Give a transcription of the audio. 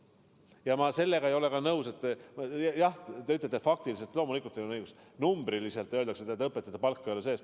Ja ma ei ole nõus sellega, et jah, te ütlete, faktiliselt – loomulikult teil on õigus –, numbriliselt, öeldakse, et õpetajate palka ei ole sees.